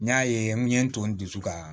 N y'a ye n ye n to n dusu ka